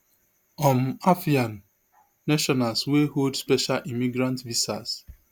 um afghan nationals wey hold special immigrant visas